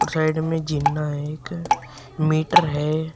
Side में जिन्ना है एक मीटर है।